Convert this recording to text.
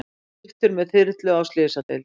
Fluttur með þyrlu á slysadeild